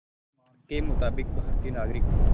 के मुताबिक़ भारतीय नागरिक